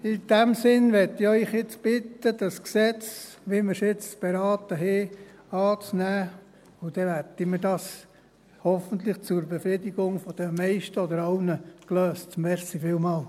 In diesem Sinne möchte ich Sie jetzt bitten, das Gesetz, wie wir es jetzt beraten haben, anzunehmen, und dann werden wir das hoffentlich zur Befriedigung der meisten oder aller gelöst haben.